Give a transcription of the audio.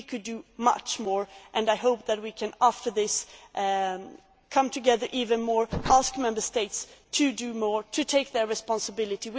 We could do much more and I hope that we can after this come together even more, ask Member States to do more, to take responsibility.